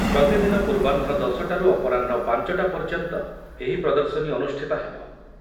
ପ୍ରତିଦିନ ପୂର୍ବାହ୍ନ ଦଶ ଟାରୁ ଅପରାହ୍ନ ପାଞ୍ଚ ଟା ପର୍ଯ୍ୟନ୍ତ ଏହି ପ୍ରଦର୍ଶନୀ ଅନୁଷ୍ଠିତ ହେବ।